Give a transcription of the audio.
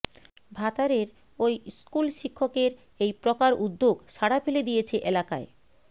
ভাতারের ওই স্কুল শিক্ষকের এই প্রকার উদ্যোগ সাড়া ফেলে দিয়েছে এলাকায়